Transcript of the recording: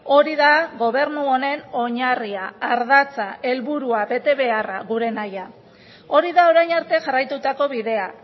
hori da gobernu honen oinarria ardatza helburua betebeharra gure nahia hori da orain arte jarraitutako bidea